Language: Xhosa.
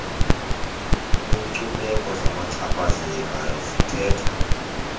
lwenkcubeko zabachaphazelekayo zithetha